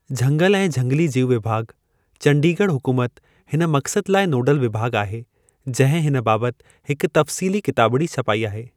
झंगल ऐं झंगिली-जीउ विभाॻु, चंडीगढ़ हुकूमत हिन मक़्सद लाइ नोडल विभाॻु आहे, जंहिं हिन बाबति हिक तफ़्सीली किताबिड़ी छपाई आहे।